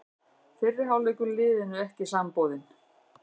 Fyrri hálfleikur liðinu ekki samboðinn